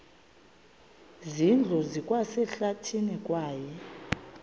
zindlu zikwasehlathini kwaye